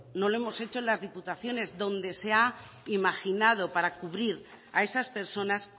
no lo hemos hecho en las diputaciones donde se ha imaginado para cubrir a esas personas